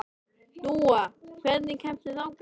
Dúa, hvernig kemst ég þangað?